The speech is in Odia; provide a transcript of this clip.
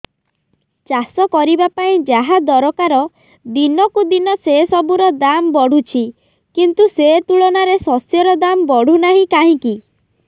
ଚାଷ କରିବା ପାଇଁ ଯାହା ଦରକାର ଦିନକୁ ଦିନ ସେସବୁ ର ଦାମ୍ ବଢୁଛି କିନ୍ତୁ ସେ ତୁଳନାରେ ଶସ୍ୟର ଦାମ୍ ବଢୁନାହିଁ କାହିଁକି